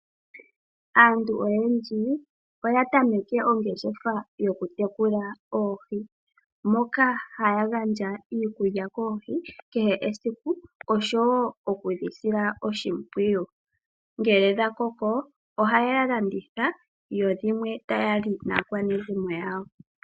Aantu oyendji oyatameke ongeshefa yokutekula oohi moka haya gaandja iikulya koohi kehe esiku osho wo okudhisila oshimpwiyu, ngele dhakoko ohayedhi landitha dho dhimwe taya li naakwanezimo yawo.